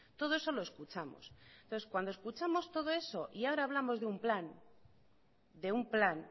todo eso lo escuchamos entonces cuando escuchamos todo eso y ahora hablamos de un plan de un plan